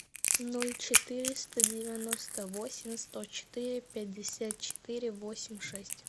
ноль четыреста девяносто восемь сто четыре пятьдесят четыре восемь шесть